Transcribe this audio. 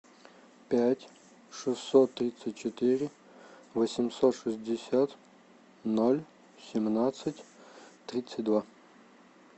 пять шестьсот тридцать четыре восемьсот шестьдесят ноль семнадцать тридцать два